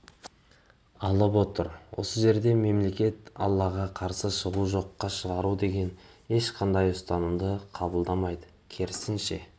алып отыр осы жерде мемлекет аллаға қарсы шығу жоққа шығару деген ешқандай ұстанымды қабылдамайды керісінше